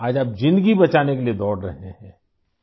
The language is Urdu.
آج آپ زندگی بچانے کے لئے دوڑ رہےہیں